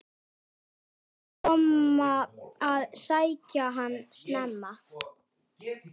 Þeir komu að sækja hann snemma.